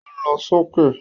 Ó lọ sókè